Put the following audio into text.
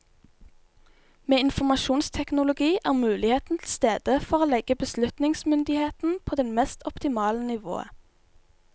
Med informasjonsteknologi er muligheten til stede for å legge beslutningsmyndigheten på det mest optimale nivået.